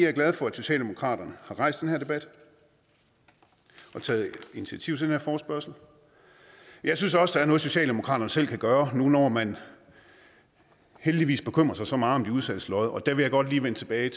er glad for at socialdemokraterne har rejst den her debat og taget initiativ til den her forespørgsel jeg synes også er noget socialdemokraterne selv kan gøre nu når man heldigvis bekymrer sig så meget om de udsattes lod og der vil jeg godt lige vende tilbage